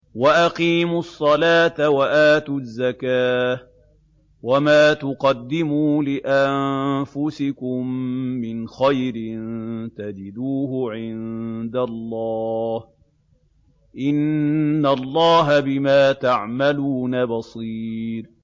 وَأَقِيمُوا الصَّلَاةَ وَآتُوا الزَّكَاةَ ۚ وَمَا تُقَدِّمُوا لِأَنفُسِكُم مِّنْ خَيْرٍ تَجِدُوهُ عِندَ اللَّهِ ۗ إِنَّ اللَّهَ بِمَا تَعْمَلُونَ بَصِيرٌ